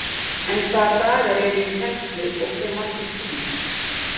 En hvaða dagar eru í kennslu og hve margir tímar?